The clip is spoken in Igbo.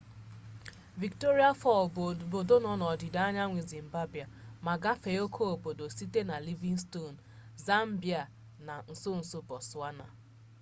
victoria falls bụ obodo nọ n'akụkụ ọdịda anyanwụ zimbabwe ma agafee oke obodo site na livingstone zambia na nsonso botswana